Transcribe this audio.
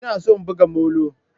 Ina son buga molo.